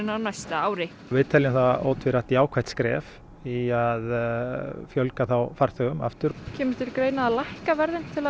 á næsta ári við teljum það ótvírætt jákvætt skref í að fjölga farþegum aftur kemur til greina að lækka verðin til að